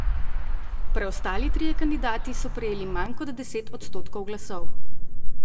Preostali trije kandidati so prejeli manj kot deset odstotkov glasov.